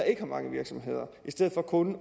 ikke har mange virksomheder i stedet for kun